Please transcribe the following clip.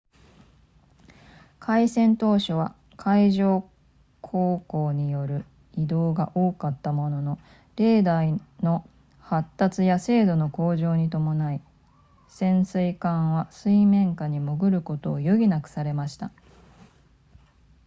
開戦当初は海上航行による移動が多かったもののレーダーの発達や精度の向上に伴い潜水艦は水面下に潜ることを余儀なくされました